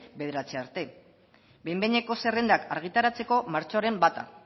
bederatzi arte behin behineko zerrendak argitaratzeko martxoaren bata